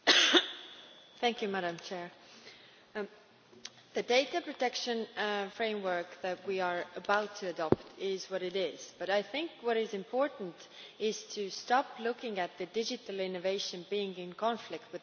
Madam President, the data protection framework that we are about to adopt is what it is, but I think what is important is to stop looking at digital innovation as being in conflict with data protection.